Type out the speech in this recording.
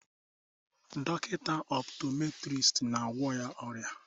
Dọkịta optometrist na-agwọ ya ọrịa